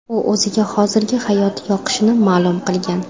U o‘ziga hozirgi hayoti yoqishini ma’lum qilgan.